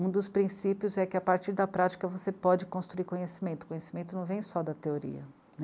Um dos princípios é que a partir da prática você pode construir conhecimento, conhecimento não vem só da teoria.